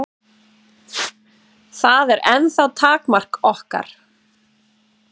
Það er ennþá takmark okkar.